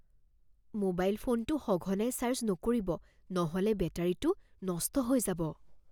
Mobile ফোনটো সঘনাই charge নকৰিব নহ'লে বেটাৰীটো নষ্ট হৈ যাব।